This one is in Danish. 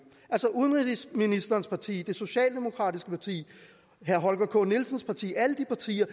altså udenrigsministerens parti det socialdemokratiske parti herre holger k nielsens parti alle de partier